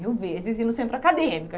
Mil vezes ir no centro acadêmico.